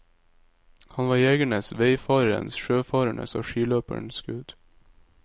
Han var jegerens, veifarerens, sjøfarenes og skiløpernes gud.